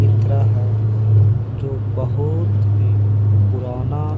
इत्राहा जो बहोत ही पुराना --